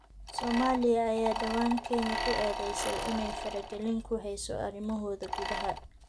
Soomaaliya ayaa dhawaan Kenya ku eedeysay inay faragelin ku heyso arrimahooda gudaha.